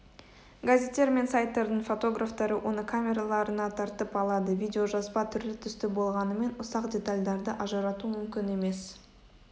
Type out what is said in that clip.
газеттер мен сайттардың фотографтары оны камераларына тартып алады видеожазба түрлі-түсті болғанымен ұсақ детальдарды ажырату мүмкін емес